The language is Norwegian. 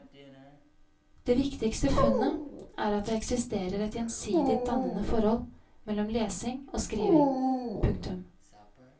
Det viktigste funnet er at det eksisterer et gjensidig dannende forhold mellom lesing og skriving. punktum